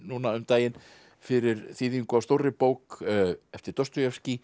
núna um daginn fyrir þýðingu á stórri bók eftir